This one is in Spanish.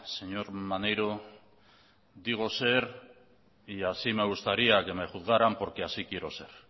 señor maneiro digo ser y así me gustaría que me juzgarán porque así quiero ser